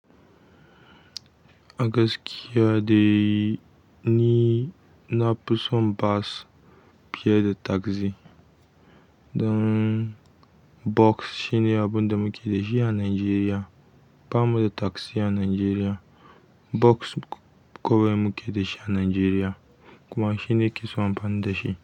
Agaskiya dai ni na fi son bus fiye da taxi. Don bus shine abun da muke da shi a Najeriya. Ba mu da tagzi a Najeriya. Boks kawai muke da shi a Najeriya kuma shine na kesan amfani da shi.